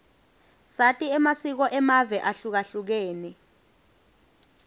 sati amasiko amave ahlukahlukene